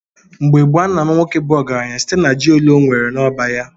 Mgbe gboo, a na-ama nwoke bu ọgaranya site na ji ole ọnwere n’ọba ya.